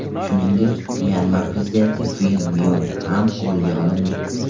Shuningdek, Myanma prezidenti Vin Myin ham qo‘lga olindi.